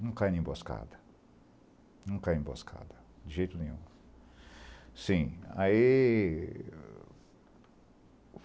Não cai na emboscada, não cai em emboscada de jeito nenhum. Sim, aí